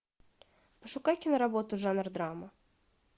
пошукай киноработу жанр драма